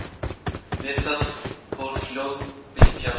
Við það fór flóðbylgja af stað.